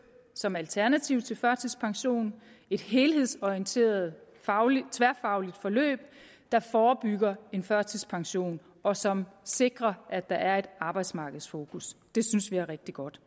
som alternativ til førtidspensionen et helhedsorienteret tværfagligt forløb der forebygger en førtidspension og som sikrer at der er et arbejdsmarkedsfokus det synes vi er rigtig godt